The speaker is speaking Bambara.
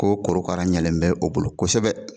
Ko korokara ɲɛlen bɛ o bolo kosɛbɛ